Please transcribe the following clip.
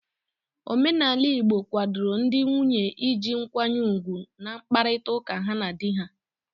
Omenala igbo kwadoro ndị nwunye iji nkwanye ugwu n'mkparịta ụka ha ndị di ha.